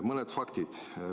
Mõned faktid.